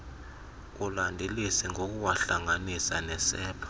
ulandelise ngokuwahlanganisa nesepha